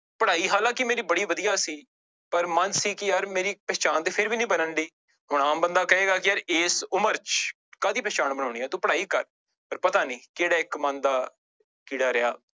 ਪੜ੍ਹਾਈ ਹਾਲਾਂਕਿ ਮੇਰੀ ਬੜੀ ਵਧੀਆ ਸੀ ਪਰ ਮਨ ਸੀ ਕਿ ਯਾਰ ਮੇਰੀ ਪਹਿਚਾਣ ਤੇ ਫਿਰ ਵੀ ਨੀ ਬਣਨਡੀ ਹੁਣ ਆਮ ਬੰਦਾ ਕਹੇਗਾ ਕਿ ਯਾਰ ਇਸ ਉਮਰ ਚ ਕਾਹਦੀ ਪਹਿਚਾਣ ਬਣਾਉਣੀ ਆਂ ਤੂੰ ਪੜ੍ਹਾਈ ਕਰ, ਪਰ ਪਤਾ ਨੀ ਕਿਹੜਾ ਇੱਕ ਮਨ ਦਾ ਕੀੜਾ ਰਿਹਾ।